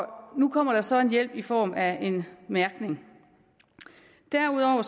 nu kommer der så en hjælp i form af en mærkning derudover er